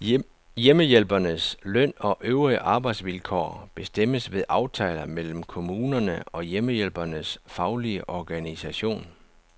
Hjemmehjælpernes løn og øvrige arbejdsvilkår bestemmes ved aftaler mellem kommunerne og hjemmehjælpernes faglige organisation.